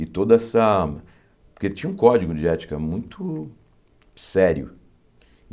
E toda essa... Porque tinha um código de ética muito sério.